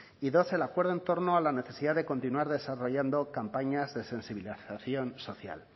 y dos el acuerdo en torno a la necesidad de continuar desarrollando campañas de sensibilización social